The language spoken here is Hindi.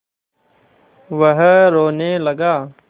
वह रोने लगा